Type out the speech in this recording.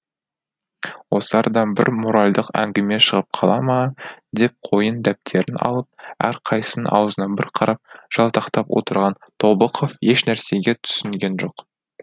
осы арадан бір моральдық әңгіме шығып қала ма деп қойын дәптерін алып әрқайсысының аузына бір қарап жалтақтап отырған тобықов еш нәрсеге түсінген жоқ